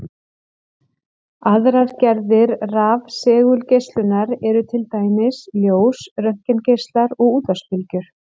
Aðrar gerðir rafsegulgeislunar eru til dæmis ljós, röntgengeislar og útvarpsbylgjur.